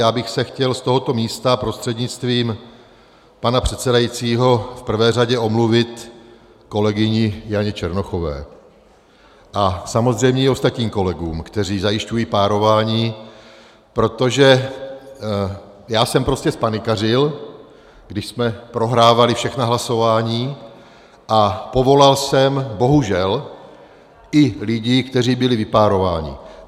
Já bych se chtěl z tohoto místa prostřednictvím pana předsedajícího v prvé řadě omluvit kolegyni Janě Černochové a samozřejmě i ostatním kolegům, kteří zajišťují párování, protože já jsem prostě zpanikařil, když jsme prohrávali všechna hlasování, a povolal jsem bohužel i lidi, kteří byli vypárováni.